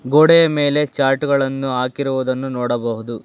ಗೋಡೆ ಮೇಲೆ ಚಾರ್ಟ್ ಗಳನ್ನು ಹಾಕಿರುವುದನ್ನು ನೋಡಬಹುದು.